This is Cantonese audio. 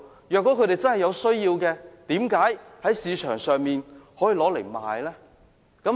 如果他們真的有需要，為甚麼將食物券轉售呢？